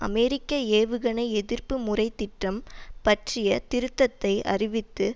அமெரிக்க ஏவுகணை எதிர்ப்பு முறை திட்டம் பற்றிய திருத்தத்தை அறிவித்து